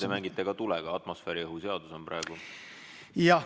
Te mängite ka tulega, atmosfääriõhu seadus on praegu kõne all.